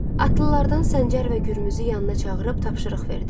Atlılardan Səncər və Gürmüzü yanına çağırıb tapşırıq verdi.